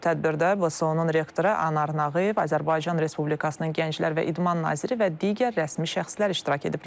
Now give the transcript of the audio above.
Tədbirdə BSU-nun rektoru Anar Nağıyev, Azərbaycan Respublikasının Gənclər və İdman naziri və digər rəsmi şəxslər iştirak ediblər.